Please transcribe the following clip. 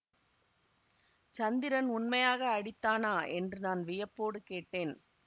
சந்திரன் உண்மையாக அடித்தானா என்று நான் வியப்போடு கேட்டேன்